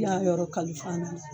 I y'a yɔrɔ kalifa na.